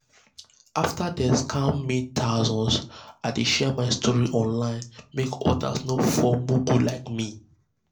after dem scam me thousands i dey share my story online make others no fall mugu like me.